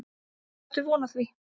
Ég átti von á því.